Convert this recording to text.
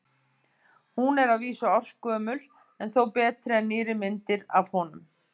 Hún er að vísu ársgömul en þó betri en nýrri myndir af honum.